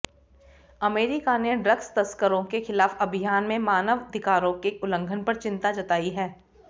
America ने drugs तस्करों के खिलाफ अभियान में मानवधिकारों के उल्लंघन पर चिंता जताई है